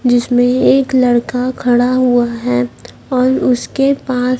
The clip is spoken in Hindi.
जिसमें एक लड़का खड़ा हुआ है और उसके पास--